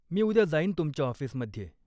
मी उद्या जाईन तुमच्या ऑफिसमध्ये.